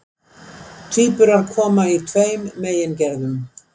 tvíburar koma í tveimur megingerðum